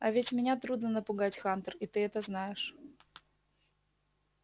а ведь меня трудно напугать хантер и ты это знаешь